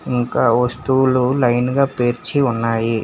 ఇంకా వస్తువులు లైన్ గా పేర్చి ఉన్నాయి.